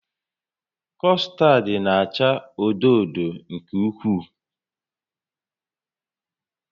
Custard na-acha odo odo nke ukwuu